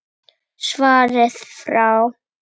Svarið frá